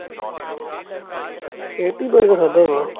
ਰੋਟੀ ਪਾਣੀ ਤੇ ਖੜਾ ਵਾ